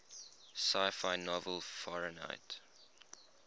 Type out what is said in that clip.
sci fi novel fahrenheit